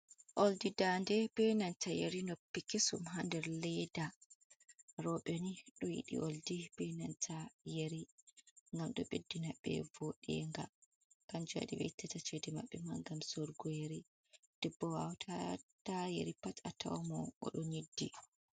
Oldi ndade, benanta yeri noppi kesum ha nder leda, rewɓe ni ɗo yiɗi oldi, ɓe nanta yeri, gam ɗo beddina be vooɗenga, kanjum wadi ɓe itta ceede maɓɓe gam soodaki yeri, debbo watata yeri pat, fatawa odo' nyiddi.